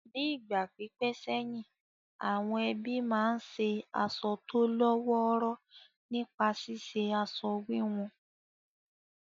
Ní ìgbà pípẹ́ sẹ́yìn, àwọn ẹbí máa ń ṣe aṣọ tó lọ́ wọ́ọ́rọ́ nípa ṣíṣe aṣọ wíwun